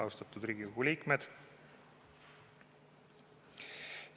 Austatud Riigikogu liikmed!